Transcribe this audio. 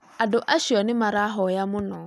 Andũ acio nĩ marahoya mũno